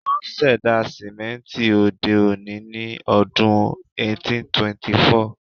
Wón ṣẹ̀dá sìmẹ́ńtì òde-òní ní ọdún 1824.